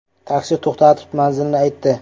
Taksi to‘xtatib, manzilni aytdi.